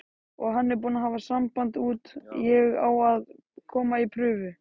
Og hann er búinn að hafa samband út, ég á að koma í prufu.